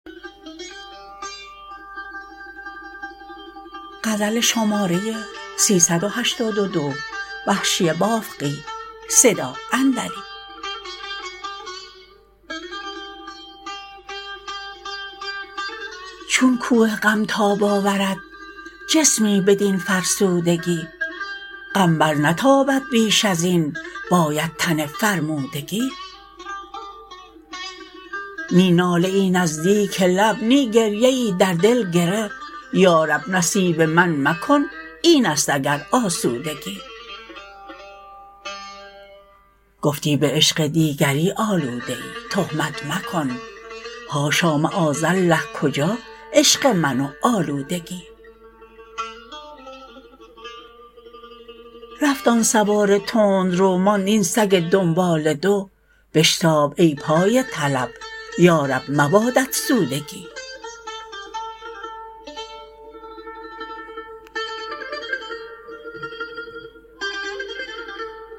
چون کوه غم تاب آورد جسمی بدین فرسودگی غم بر نتابد بیش ازین باید تن فرمودگی نی ناله ای نزدیک لب نی گریه ای در دل گره یارب نصیب من مکن اینست اگر آسودگی گفتی به عشق دیگری آلوده ای تهمت مکن حاشا معاذالله کجا عشق من و آلودگی رفت آن سوار تندرو ماند این سگ دنباله دو بشتاب ای پای طلب یارب مبادت سودگی